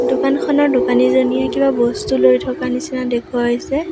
দোকানখনৰ দোকানী জনিয়ে কিবা বস্তু লৈ থকা নিচিনা দেখুওৱা হৈছে।